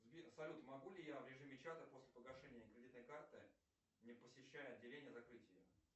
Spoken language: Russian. сбер салют могу ли я в режиме чата после погашения кредитной карты не посещая отделение закрыть ее